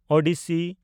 Odyssey